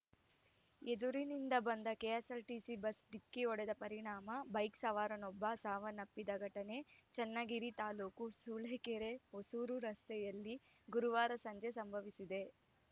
ಎದುರಿನಿಂದ ಬಂದ KSRTC bus ಡಿಕ್ಕಿ ಹೊಡೆದ ಪರಿಣಾಮ ಬೈಕ್‌ ಸವಾರನೊಬ್ಬ ಸಾವನ್ನಪ್ಪಿದ ಘಟನೆ ಚನ್ನಗಿರಿ ತಾಲೂಕು ಸೂಳೆಕೆರೆಹೊಸೂರು ರಸ್ತೆಯಲ್ಲ ಗುರುವಾರ ಸಂಜೆ ಸಂಭವಿಸಿದೆ